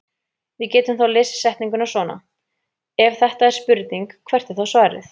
Við getum þá lesið setninguna svona: Ef þetta er spurning hvert er þá svarið?